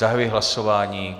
Zahajuji hlasování.